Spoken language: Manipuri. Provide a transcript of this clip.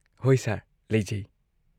ꯍꯣꯏ ꯁꯔ, ꯂꯩꯖꯩ꯫